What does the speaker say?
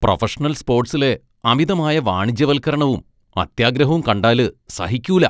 Professional സ്പോട്സിലെ അമിതമായ വാണിജ്യവൽക്കരണവും, അത്യാഗ്രഹവും കണ്ടാല് സഹിക്കൂല.